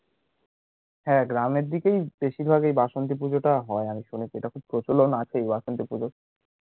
হ্যাঁ, গ্রামের দিকেই বেশীরভাগ এই বাসন্তি পূজোটা হয় আমি শুনেছি, এটা খুব প্রচলন আছে এই বাসন্তি পূজোর